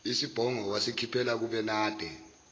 isibhongo wasikhiphela kubenade